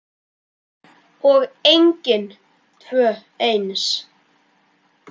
Og engin tvö eins.